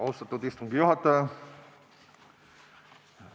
Austatud istungi juhataja!